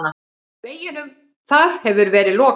Veginum þar hefur verið lokað.